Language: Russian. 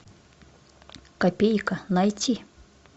копейка найти